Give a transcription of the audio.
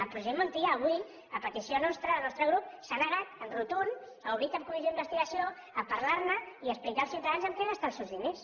el president montilla avui a petició nostra del nostre grup s’ha negat en rotund a obrir cap comissió d’investigació a parlar ne i a explicar als ciutadans en què gasta els seus diners